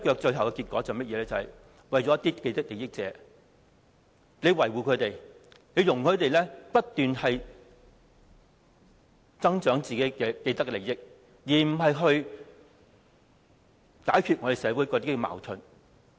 最後的結果是維護了一些既得利益者，容許他們不斷增長自己的既得利益，而不是解決社會的矛盾。